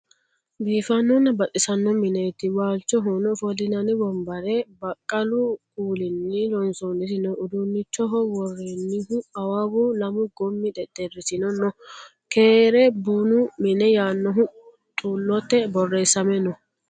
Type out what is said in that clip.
Biifanona baxxisano minetti waalichohono offolinanni wonibbare baqqalu kuulinni loonisonniti noo. udunichoho worenihu awawu, lamu gommi xexxerisino noo keere bunu mine yaanohu xelote borresame noo